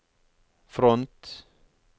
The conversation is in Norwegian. front